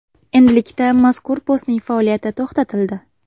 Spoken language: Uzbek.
Endilikda mazkur postning faoliyati to‘xtatildi.